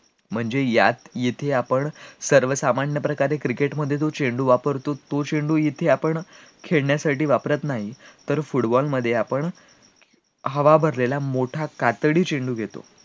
म्हणजे यात जिथे आपण सर्वसामान्यप्रकारे cricket मध्ये जो चेंडू वापरतो तो चेंडू इथे आपण खेळण्यासाठी वापरात नाही तर football मध्ये आपण हवा भरलेला मोठा कातडी चेंडू घेतो,